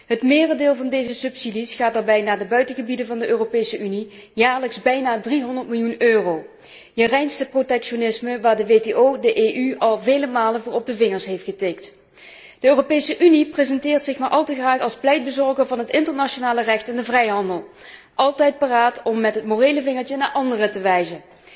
Het merendeel van deze subsidies gaat daarbij naar de buitengebieden van de Europese Unie, jaarlijks bijna 300 miljoen euro je reinste protectionisme, waarvoor de WTO de EU al vele malen op de vingers heeft getikt. De Europese Unie presenteert zich maar al te graag als pleitbezorger van het internationale recht en de vrijhandel, altijd paraat om met het morele vingertje naar anderen te wijzen.